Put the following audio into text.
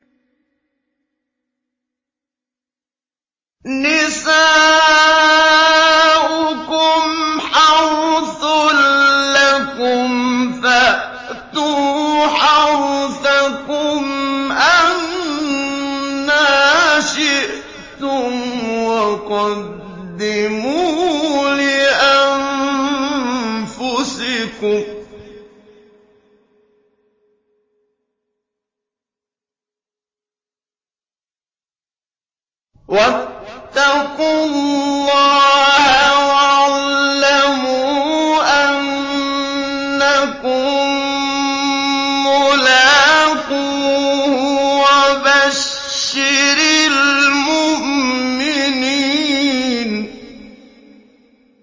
نِسَاؤُكُمْ حَرْثٌ لَّكُمْ فَأْتُوا حَرْثَكُمْ أَنَّىٰ شِئْتُمْ ۖ وَقَدِّمُوا لِأَنفُسِكُمْ ۚ وَاتَّقُوا اللَّهَ وَاعْلَمُوا أَنَّكُم مُّلَاقُوهُ ۗ وَبَشِّرِ الْمُؤْمِنِينَ